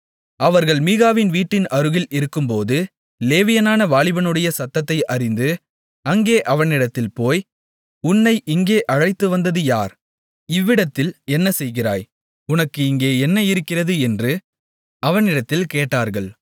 அவர்கள் மீகாவின் வீட்டின் அருகில் இருக்கும்போது லேவியனான வாலிபனுடைய சத்தத்தை அறிந்து அங்கே அவனிடத்தில் போய் உன்னை இங்கே அழைத்து வந்தது யார் இவ்விடத்தில் என்ன செய்கிறாய் உனக்கு இங்கே என்ன இருக்கிறது என்று அவனிடத்தில் கேட்டார்கள்